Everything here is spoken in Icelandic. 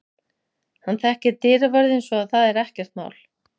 Hann þekkir dyravörðinn svo að það er ekkert mál.